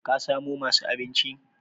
kasamo masu abinchi?